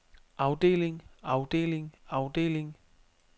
afdeling afdeling afdeling